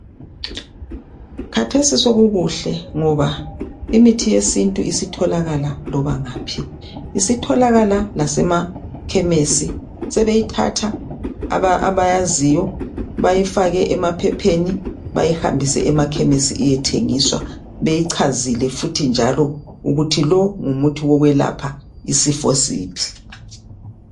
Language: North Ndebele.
Khathesi sokukuhle ngoba imithi yesintu isitholakala loba ngaphi. Isitholakala lasemakhemesi, sebeyithatha abayaziyo bayifake emaphepheni bayihambise emakhemesi iyethengiswa, beyichazile futhi njalo ukuthi lo ngumuthi wokwelapha isifo siphi.